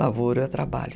Lavoro é trabalho.